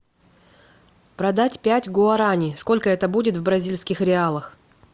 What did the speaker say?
продать пять гуарани сколько это будет в бразильских реалах